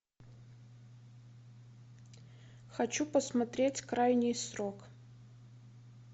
хочу посмотреть крайний срок